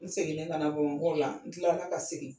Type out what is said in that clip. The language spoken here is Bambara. N seginen ka na Bamakɔ kɛ, an n kilala ka segin.